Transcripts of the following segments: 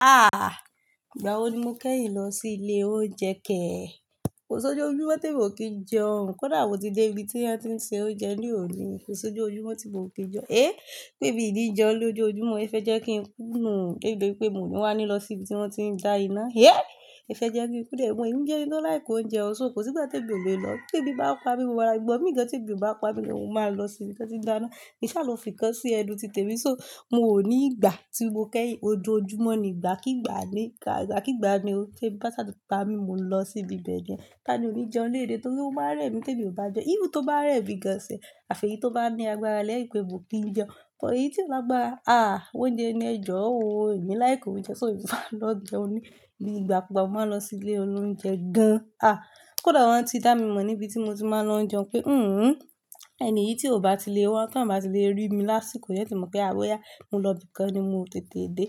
Ìgbà wo ni mo kẹ́yìn lọ sí ilé oúnjẹ kẹ́? Kò sí ojú ojúmọ́ tí mo kì í jẹun, kódà wò tí dé ibi tí wọ́n ti ń ṣe oúnjẹ ní òní, kò sí ojú ojúmọ́ tí mo ò kí jẹun. Eh! Pé miọ ní jeun lojo ojúmọ́, ẹ fẹ́ jẹ́ kí ń kùnú, dé bi pé mo ní wá ní lọ sí ibi tí wọ́n ti ń dá iná, Ẹ fẹ́ jẹ́ kí n kú ẹ, mo ìbí jẹ́ ẹni tó like oúnjẹ, so kò sí tí gbogbo mi lọ. Tẹ́bí bá pa mí, mo máa gbo, igba mí tí èébì bá pa mí lọ, mo máa lọ sí ibi tí wọ́n ti ń dá iná. Ní ṣá ló fi kan sí ẹ̀nu ti tèmi, so miò ní ìgbà tí mo kẹ́yìn, ojú ojúmọ́ ni ìgbà kígbà ní, ìgbà kígbà ni ó ṣe. Bá ṣá tó pa mí, mo lọ sí ibi bẹ̀ ni Tani ò ní jẹun léè day torí ó máa rẹ́ mi tẹ́bí ò bá jẹun. Even tó bá rẹ́ mi gan self, àfì tí ó bá ní agbára yẹ́n pẹ̀, mo kì í jẹun. Ṣùgbọ́n èyí tí ó bá lagbara Oúnjẹ ni ẹ jọ, oò, èmi like oúnjẹ, ṣó un ma lọ jẹun ní, bí ìgbà kú gbà mo máa lọ sí ilé olóunjẹ gan. Kódà wọ́n ti dá mi mọ̀ níbi tí mo ti máa ń lọ jẹun pé, "hìhùn, ẹni tí ò bá ti lè wá tán bá ti lè rí mi lásìkò yẹn, tí mo pé àwọn ya, mo lọ ibìkan ni mo tètè dé."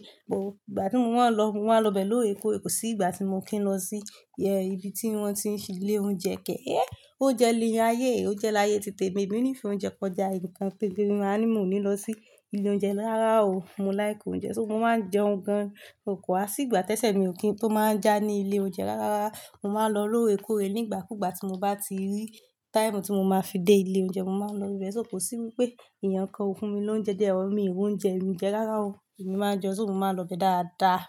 gbà tí wọn lọ, wọn lọ bẹ̀ lóòre kóòre sí ìgbà tí mo kí ń lọ sí, ye ibi tí wọ́n ti ń ṣí ilé oúnjẹ kẹ́, eh! Oúnjẹ lẹ́ẹ̀ ayé, oúnjẹ láyé ti tèmi, èmi ní ìfẹ́ oúnjẹ kọjá ǹkan pé pé mi máa ní mo ní lọ sí ilé oúnjẹ rara o. Mo like oúnjẹ, ṣó mo máa ń jẹun gan, kò wá sí ìgbà tẹ́sẹ̀ mi ò kí n tó máa ń já ní ilé oúnjẹ rárá. Mo máa ń lọ lóòre kóòre ní ìgbà kú ìgbà tí mo bá ti rí time tí mo máa fi dé ilé oúnjẹ, mo máa ń lọ ibẹ̀. So, kò sí wípé èèyàn kan fún mi lóúnjẹ or mi ìwú ń jẹun, mi jẹ rárá o. Èmi máa ń jẹun ṣó mo máa lọ bẹ dáadáa.